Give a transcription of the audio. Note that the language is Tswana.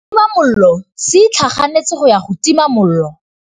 Setima molelô se itlhaganêtse go ya go tima molelô.